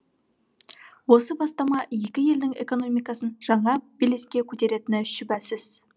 осы бастама екі елдің экономикасын жаңа белеске көтеретіні шүбәсіз